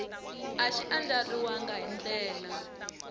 a xi andlariwangi hi ndlela